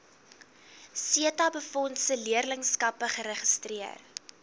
setabefondse leerlingskappe geregistreer